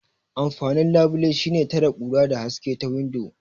Amfanin labile shine tare kura da haske ta windo.